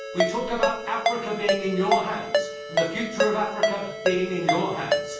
We talk about Africa being in your hands, and the future of Africa being in your hands.